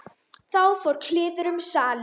Þá fór kliður um salinn.